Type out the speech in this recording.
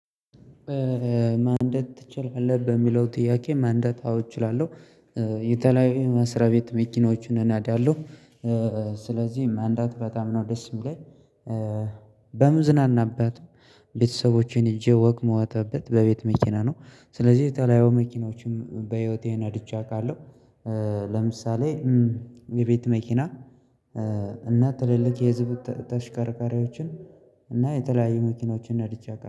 ማንደድ ትችላለህ በሚለው ጥያቄ ማንደታ አዎ እችላለሁ። የተለያዩ መስሪያ ቤት መኪኖቹን እናዳለሁ ስለዚህ መንዳት በጣም ነው ደስ የሚለኝ። በምዝናናበት ቤተሰቦቼን ይዤ ወክ እምወታበት በቤት መኪና ነው። ስለዚህ የተለያየ መኪኖችም በህይወቴ ነድቼ አውቃለሁ። ለምሳሌ የቤት መኪና እና ትልልቅ የህዝብ ተሽከርካሪዎችን እና የተለያዩ መኪኖችን ነድቼ አዉቃ